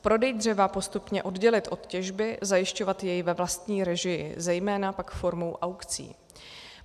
Prodej dřeva postupně oddělit od těžby, zajišťovat jej ve vlastní režii, zejména pak formou aukcí.